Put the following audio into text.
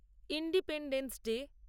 independence day